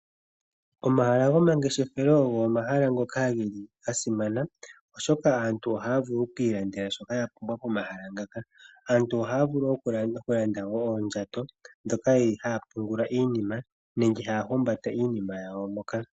Omahala gomageshefelo ogo omahala ngoka geli ga simana oshoka aantu ohaya vulu oku ki ilandela shoka ya pumbwa momahala muka. Aantu ohaya vulu okwiilandela oondjato ndhoka haya pungula iinima nenge haya humbatele mo Iinima yawo moka.